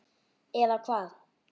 Eða hvað.